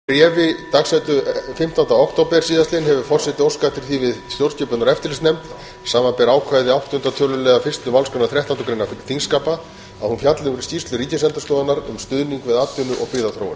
með bréfi dagsettu fimmtánda október síðastliðinn hefur forseti óskað eftir því við stjórnskipunar og eftirlitsnefnd samanber ákvæði áttunda töluliðar fyrstu málsgreinar þrettándu greinar þingskapa að hún fjalli um skýrslu ríkisendurskoðunar um stuðning við atvinnu og byggðaþróun